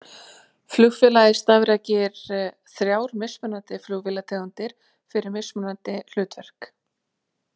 Félagið starfrækir þrjár mismunandi flugvélategundir fyrir mismunandi hlutverk.